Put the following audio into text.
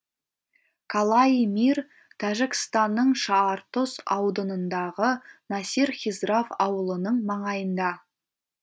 калаи мир тәжікстанның шаартұз ауданындағы насир хисрав ауылының маңайында